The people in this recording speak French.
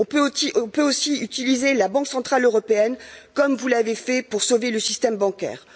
Nous pouvons aussi utiliser la Banque centrale européenne, comme vous l'avez fait pour sauver le système bancaire.